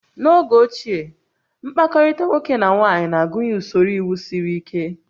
N'oge ochie, mkpakọrịta nwoke na nwaanyị na-agụnye usoro iwu siri ike